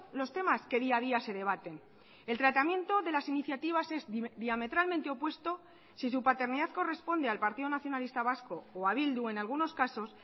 los temas que día a día se debaten el tratamiento de las iniciativas es diametralmente opuesto si su paternidad corresponde al partido nacionalista vasco o a bildu en algunos casos